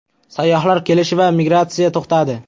Sayyohlar kelishi va migratsiya to‘xtadi.